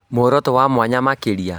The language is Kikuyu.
Mworoto wa mwanya makĩria